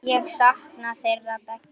Ég sakna þeirra beggja.